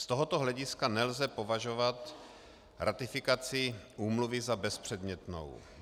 Z tohoto hlediska nelze považovat ratifikaci úmluvy za bezpředmětnou.